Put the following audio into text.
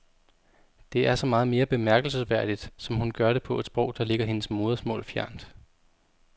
Det er så meget mere bemærkelsesværdigt som hun gør det på et sprog der ligger hendes modersmål fjernt.